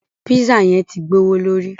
Pízzà yẹn tí gbọwọlórí.